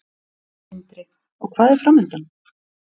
Sindri: Og hvað er framundan?